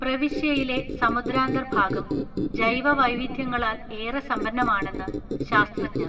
പ്രവിശ്യയിലെ സമുദ്രാന്തർഭാഗം ജൈവവൈവിധ്യങ്ങളാൽ ഏറെ സമ്പന്നമാണെന്ന് ശാസ്ത്രജ്ഞർ